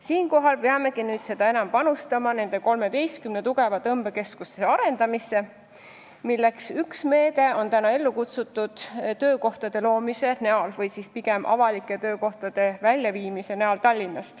Siinkohal peamegi nüüd seda enam panustama 13 tugeva tõmbekeskuse arendamisse, milleks on ellu kutsutud ka töökohtade loomise või pigem avalike töökohtade Tallinnast väljaviimise meede.